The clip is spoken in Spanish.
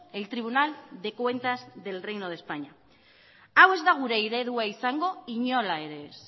el tribunal de cuentas del reino de españa hau ez da gure eredua izango inola ere ez